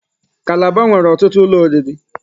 Calabar nwere ọtụtụ ụlọ oriri.